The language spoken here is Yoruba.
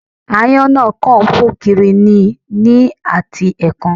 Aáyán náà kàn ń fò kiri ni ní àti ẹ̀ẹ̀kan